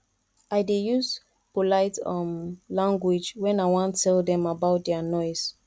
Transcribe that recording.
i dey use polite um language wen i wan tell dem about their noise